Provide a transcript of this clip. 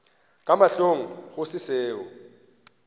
ka mahlong go se seo